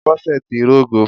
Bọ́sẹ̀ ti rógo